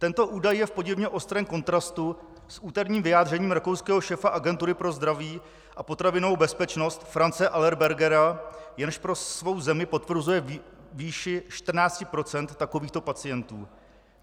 Tento údaj je v podivně ostrém kontrastu s úterním vyjádřením rakouského šéfa Agentury pro zdraví a potravinovou bezpečnost Franze Allerbergera, jenž pro svou zemi potvrzuje výši 14 % takovýchto pacientů.